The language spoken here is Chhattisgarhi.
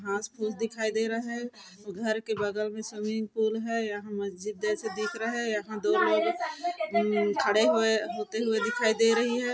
घास-फूस दिखाई दे रहा हैं घर के बगल में स्विमिंग पूल हैं यहाँ मस्जिद जैसा दिख रहा हैं यहाँ दूर में मम्म्म खड़े हुए होते हुए दिखाई दे रही हैं।